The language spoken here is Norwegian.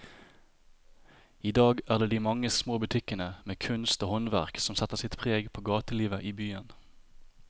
I dag er det de mange små butikkene med kunst og håndverk som setter sitt preg på gatelivet i byen.